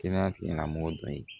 Kɛnɛya tigila mɔgɔ dɔ ye